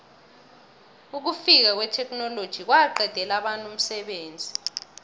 ukufika kwetheknoloji kwaqedela abantu umsebenzi